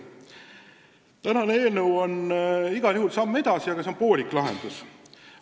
Tänane eelnõu on igal juhul samm edasi, aga see on poolik lahendus.